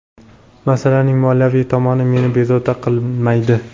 Masalaning moliyaviy tomoni meni bezovta qilmaydi.